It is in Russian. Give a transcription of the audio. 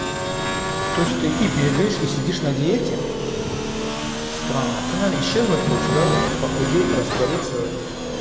то есть ты и бегаешь и сидишь на диете странно ты наверное исчезнуть хочешь да похудеть раствориться